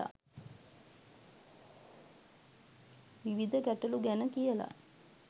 විවිධ ගැටලු ගැන කියලා.